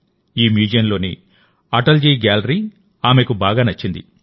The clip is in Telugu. ఈ మ్యూజియంలోని అటల్ జీ గ్యాలరీ ఆమెకు బాగా నచ్చింది